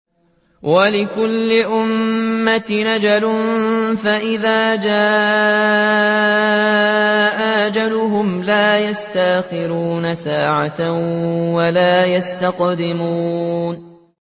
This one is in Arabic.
وَلِكُلِّ أُمَّةٍ أَجَلٌ ۖ فَإِذَا جَاءَ أَجَلُهُمْ لَا يَسْتَأْخِرُونَ سَاعَةً ۖ وَلَا يَسْتَقْدِمُونَ